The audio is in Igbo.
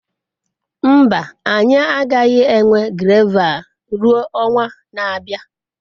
Mba, anyị agaghị enwe gravel ruo ọnwa na-abịa.